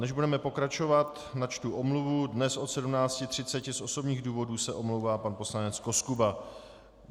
Než budeme pokračovat, načtu omluvu - dnes od 17.30 z osobních důvodů se omlouvá pan poslanec Koskuba.